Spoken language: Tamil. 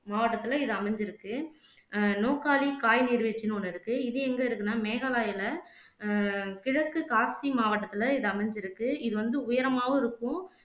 மாவட்டத்துல இது அமைஞ்சிருக்கு அஹ் நோக்காலி காய் நீர்வீழ்ச்சின்னு ஒண்ணு இருக்கு இது எங்க இருக்குன்னா மேகாலயால அஹ் கிழக்கு காக்ட்சி மாவட்டத்துல இது அமைஞ்சிருக்கு இது வந்து உயரமாவும் இருக்கும்